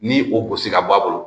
Ni o gosi ka bɔ a bolo